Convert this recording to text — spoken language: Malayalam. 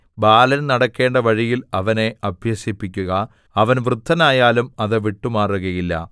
ബാലൻ നടക്കേണ്ട വഴിയിൽ അവനെ അഭ്യസിപ്പിക്കുക അവൻ വൃദ്ധനായാലും അത് വിട്ടുമാറുകയില്ല